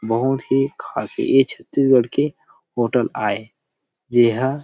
बहुत ही खास ये छत्तीसगढ़ के होटल आए येहा।